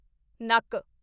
ਨੱਕ